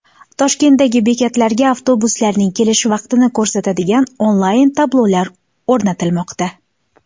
Toshkentdagi bekatlarga avtobuslarning kelish vaqtini ko‘rsatadigan onlayn-tablolar o‘rnatilmoqda .